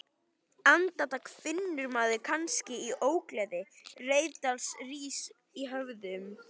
Andartak finnur maður kannski til ógleði, reiðialda rís í höfðinu